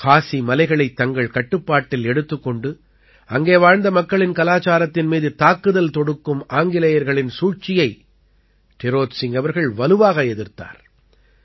காஸி மலைகளைத் தங்கள் கட்டுப்பாட்டில் எடுத்துக் கொண்டு அங்கே வாழ்ந்த மக்களின் கலாச்சாரத்தின் மீது தாக்குதல் தொடுக்கும் ஆங்கிலேயர்களின் சூழ்ச்சியை டிரோத் சிங் அவர்கள் வலுவாக எதிர்த்தார்